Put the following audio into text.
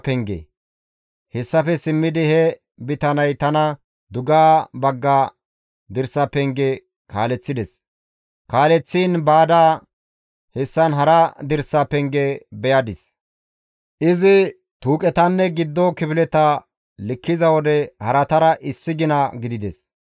Hessafe simmidi he bitaney tana dugeha bagga dirsa penge kaaleththides; kaaleththiin baada, hessan hara dirsa penge beyadis. Izi tuuqetanne giddo kifileta likkiza wode haratara issi gina gidides.